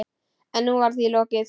En nú var því lokið.